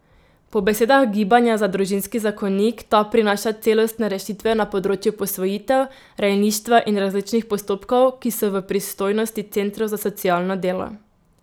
Po besedah Gibanja za družinski zakonik ta prinaša celostne rešitve na področju posvojitev, rejništva in različnih postopkov, ki so v pristojnosti centrov za socialno delo.